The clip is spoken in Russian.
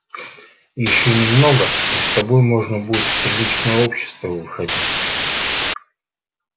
ещё немного и с тобой можно будет в приличное общество выходить